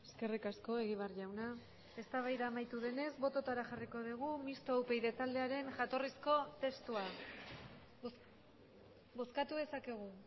eskerrik asko egibar jauna eztabaida amaitu denez bototara jarriko dugu mistoa upyd taldearen jatorrizko testua bozkatu dezakegu